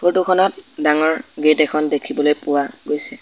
Photo খনত ডাঙৰ gate এখন দেখিবলৈ পোৱা গৈছে।